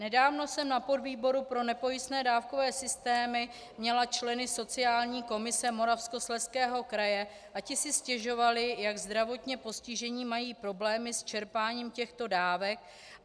Nedávno jsem na podvýboru pro nepojistné dávkové systémy měla členy sociální komise Moravskoslezského kraje a ti si stěžovali, jak zdravotně postižení mají problémy s čerpáním těchto dávek.